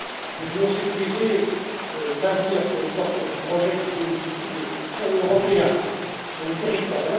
Nous voulons sécuriser l'avenir pour les porteurs de projets qui bénéficient de fonds européens sur les territoires.